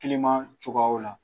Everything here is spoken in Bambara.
cogoyaw la.